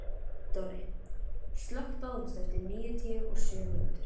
Dorri, slökktu á þessu eftir níutíu og sjö mínútur.